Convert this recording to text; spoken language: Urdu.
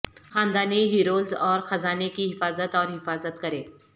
خاندانی ہیرولوز اور خزانے کی حفاظت اور حفاظت کریں